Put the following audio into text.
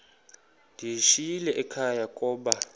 ndiyishiyile ekhaya koba